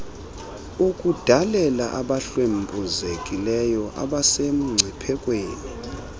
ukudalela abahlwempuzekileyo abasemngciphekweni